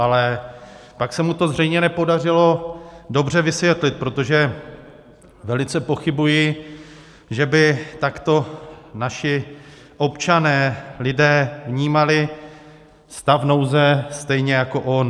Ale pak se mu to zřejmě nepodařilo dobře vysvětlit, protože velice pochybuji, že by takto naši občané, lidé, vnímali stav nouze stejně jako on.